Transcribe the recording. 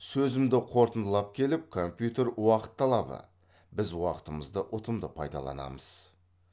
сөзімді қорытындылап келіп компьютер уақыт талабы біз уақытымызды ұтымды пайдаланамыз